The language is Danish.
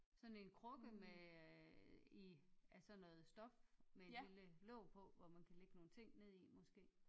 Sådan en krukke med øh i af sådan noget stof med et lille låg på hvor man kan ligge nogle ting ned i måske